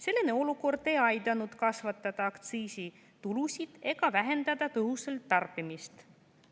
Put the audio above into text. Selline olukord ei aidanud kasvatada aktsiisitulusid ega vähendada tõhusalt tarbimist.